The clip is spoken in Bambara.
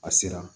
A sera